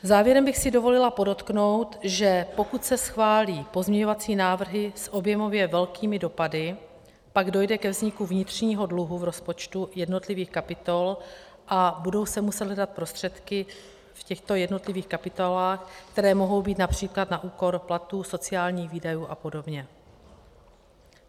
Závěrem bych si dovolila podotknout, že pokud se schválí pozměňovací návrhy s objemově velkými dopady, pak dojde ke vzniku vnitřního dluhu v rozpočtu jednotlivých kapitol a budou se muset hledat prostředky v těchto jednotlivých kapitolách, které mohou být například na úkor platů, sociálních výdajů a podobně.